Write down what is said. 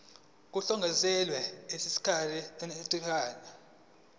kuhlongozwe emthethweni osuchithiwe